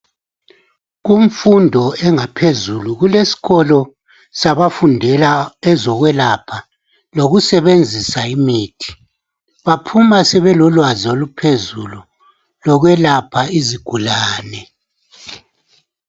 Kumfundo engaphezulu kulesikolo sabafundela ezokwelapha lokusebenzisa imithi baphuma sebelolwazi oluphezulu lokwelapha izigulane